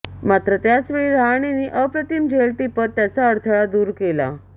मात्र त्याचवेळी रहाणेने अप्रतिम झेल टिपत त्याचा अडथळा दूर केला